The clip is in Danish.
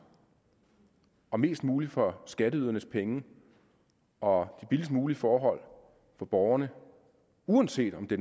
og mest muligt for skatteydernes penge og de billigst mulige forhold for borgerne uanset om det